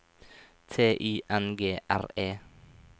T Y N G R E